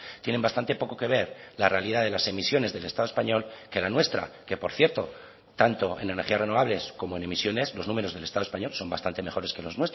tienen bastante poco que ver la realidad de las emisiones del estado español que la nuestra que por cierto tanto en energías renovables como en emisiones los números del estado español son bastante mejores que los